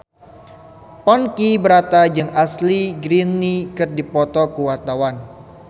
Ponky Brata jeung Ashley Greene keur dipoto ku wartawan